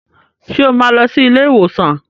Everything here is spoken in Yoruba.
Ṣé o máa lọ sí ilé ìwòsàn